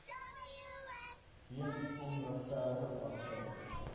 weens onregverdige praktyke